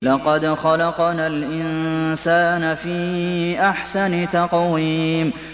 لَقَدْ خَلَقْنَا الْإِنسَانَ فِي أَحْسَنِ تَقْوِيمٍ